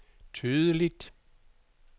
tydeligt